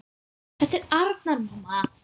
Þetta er Arnar, mamma!